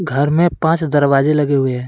घर में पांच दरवाजे लगे हुए हैं।